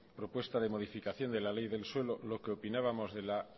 propuesta de modificación de la ley del suelo lo que opinábamos de la